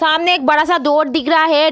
सामने एक बड़ा-सा डोर दिख रहा है।